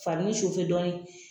Farinin dɔɔni.